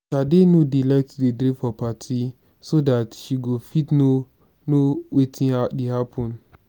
shade no dey like to drink for party so dat she go fit know know wetin dey happen